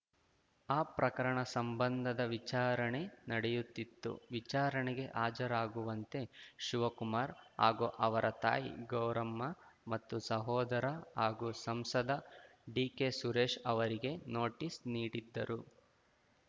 ಆ ಪ್ರಕರಣ ಸಂಬಂಧದ ವಿಚಾರಣೆ ನಡೆಯುತ್ತಿತ್ತು ವಿಚಾರಣೆಗೆ ಹಾಜರಾಗುವಂತೆ ಶಿವಕುಮಾರ್‌ ಹಾಗೂ ಅವರ ತಾಯಿ ಗೌರಮ್ಮ ಮತ್ತು ಸಹೋದರ ಹಾಗೂ ಸಂಸದ ಡಿಕೆಸುರೇಶ್‌ ಅವರಿಗೆ ನೋಟಿಸ್‌ ನೀಡಿದ್ದರು